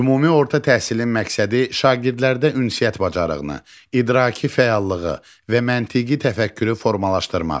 Ümumi orta təhsilin məqsədi şagirdlərdə ünsiyyət bacarığını, idraki fəallığı və məntiqi təfəkkürü formalaşdırmaqdır.